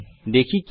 দেখি কি হয়